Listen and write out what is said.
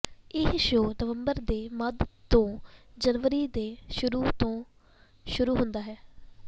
ਇਹ ਸ਼ੋਅ ਨਵੰਬਰ ਦੇ ਮੱਧ ਤੋਂ ਜਨਵਰੀ ਦੇ ਸ਼ੁਰੂ ਤੋਂ ਸ਼ੁਰੂ ਹੁੰਦਾ ਹੈ